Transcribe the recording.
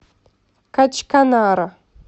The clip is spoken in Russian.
качканара